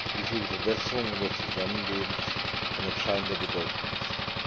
die für die Verbesserung unseres Zusammenlebens von entscheidender Bedeutung ist.